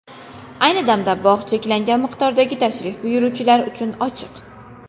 Ayni damda bog‘ cheklangan miqdordagi tashrif buyuruvchilar uchun ochiq.